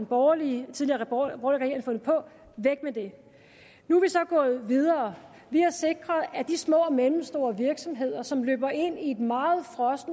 borgerlige regering fandt på væk med dem nu er vi så gået videre vi har sikret at de små og mellemstore virksomheder som løber ind i et meget